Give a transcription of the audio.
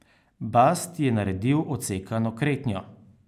Bast je naredil odsekano kretnjo.